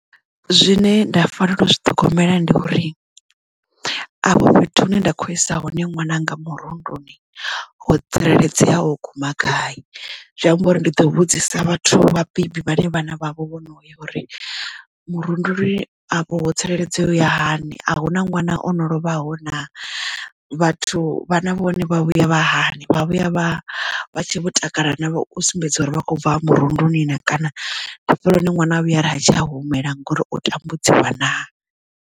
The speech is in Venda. Zwine nda fanela u zwi ṱhogomela ndi uri avho fhethu hune nda kho isa hone ṅwananga murunduni ho tsireledzea u guma gai zwi amba uri ndi ḓo vhudzisa vhathu vhabebi vhaṋe vhana vha vho vhono ya uri murunduni a vho ho tsireledzeaho ya hani a hu na ṅwana ono lovhaho na vhathu vhana vhone vha vhuya vha hani vha vhuya vho takala na u sumbedza uri vha kho bva hone murunduni na kana hafhaḽa hune ṅwana a vhuya ari ha tsha humela ngori o tambudziwa naa.